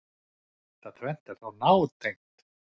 Þetta tvennt er þó nátengt.